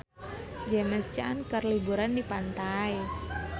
James Caan keur liburan di pantai